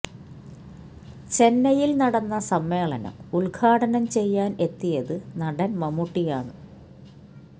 ചെന്നൈയില് നടന്ന സമ്മേളനം ഉദ്ഘാടനം ചെയ്യാന് എത്തിയത് നടന് മമ്മൂട്ടിയാണ്